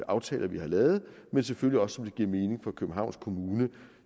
aftaler vi har lavet og selvfølgelig også ved giver mening for københavns kommune